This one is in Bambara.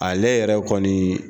Ale yɛrɛ kɔni